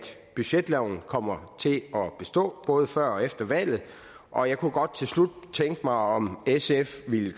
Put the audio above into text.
budgetloven kommer til at bestå både før og efter valget og jeg kunne godt til slut tænke mig om sf ville